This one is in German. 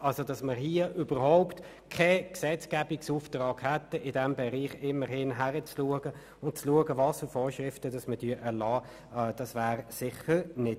» Es verhält sich sicher nicht so, dass hier überhaupt kein Gesetzgebungsauftrag besteht, der uns auffordert zu prüfen, welche Vorschriften wir erlassen wollen.